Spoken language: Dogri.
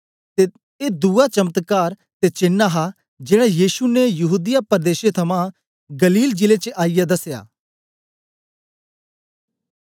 ऐ दुवा चमत्कार ते चेन हा जेड़ा यीशु ने यहूदीया पर्देशे थमां गलील जिले च आईयै दसया